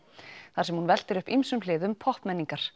þar sem hún veltir upp ýmsum hliðum